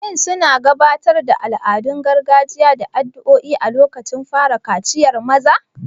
Shin suna gabatar da al'adun gargajiya da addu'o'i a lokacin fara kaciyar maza?